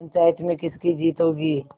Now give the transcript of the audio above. पंचायत में किसकी जीत होगी